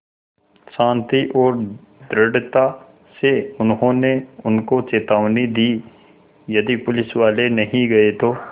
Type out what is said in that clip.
शान्ति और दृढ़ता से उन्होंने उनको चेतावनी दी यदि पुलिसवाले नहीं गए तो